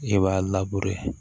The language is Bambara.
E b'a